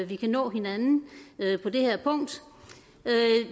vi kan nå hinanden på det her punkt